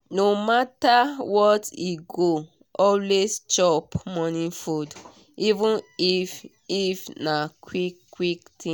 no matter what e go always chop morning food even if if na quick quick thing.